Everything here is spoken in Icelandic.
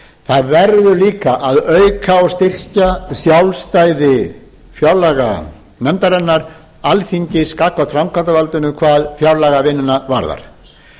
það verður líka að auka og styrkja sjálfstæði fjárlaganefndarinnar alþingis gagnvart framkvæmdarvaldinu hvað fjárlagavinnuna varðar